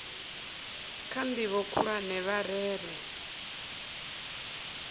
kha ndivho khulwane vha rere